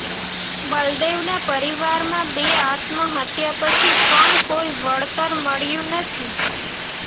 બલદેવના પરિવારમાં બે આત્મહત્યા પછી પણ કોઈ વળતર મળ્યું નથી